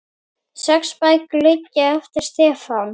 Sex bækur liggja eftir Stefán